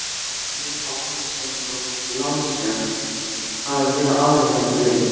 Nema hún sé svo lánsöm að vera alveg blind.